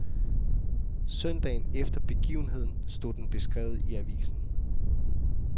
Søndagen efter begivenheden stod den beskrevet i avisen.